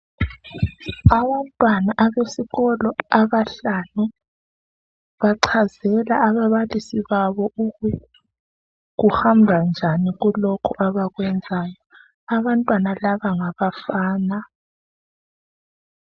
Abantwana abesikolo abahlanu bachazela ababalisi babo ukuthi kuhamba njani kulokhu abakwenzayo. Abantwana laba ngabafana.